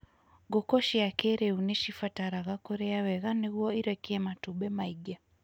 Ngũkũ cia kĩrĩu nĩ cibataraga kũrĩa wega nĩguo irekie matumbĩ maingĩ.